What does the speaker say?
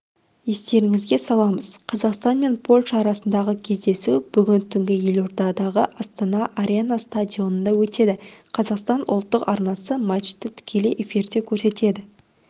естеріңізге саламыз қазақстан мен польша арасындағы кездесу бүгін түнгі елордадағы астана арена стадионында өтеді қазақстан ұлттық арнасы матчты тікелей эфирде көрсетеді